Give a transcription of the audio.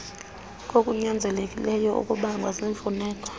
kokunyanzelekileyo okubangwa ziimfuneko